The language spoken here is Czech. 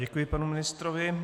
Děkuji panu ministrovi.